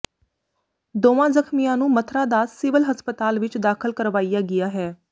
ਦੋਵਾਂ ਜ਼ਖਮੀਆਂ ਨੂੰ ਮਥਰਾ ਦਾਸ ਸਿਵਲ ਹਸਪਤਾਲ ਵਿਚ ਦਾਖਲ ਕਰਵਾਇਆ ਗਿਆ ਹੈ